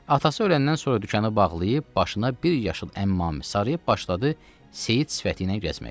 Atası öləndən sonra dükanı bağlayıb, başına bir yaşıl əmmamə sarıyıb başladı seyid sifəti ilə gəzməyə.